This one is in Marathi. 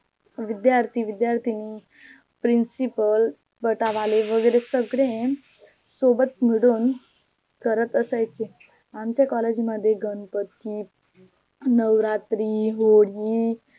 विध्यार्थी विध्यार्थिनी PRINCIPAL वैगेरे सगळे सोबत मिळून करत असायचे. आमच्या COLLEGE मध्ये गणपती, नवरात्री, होळी